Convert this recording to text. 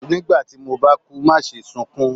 nígbà tí mo ba kú maṣe sunkún!